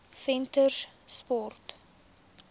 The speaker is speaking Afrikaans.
venterspost